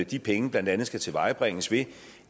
de penge blandt andet skal tilvejebringes ved